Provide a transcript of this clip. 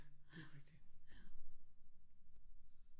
Det er rigtigt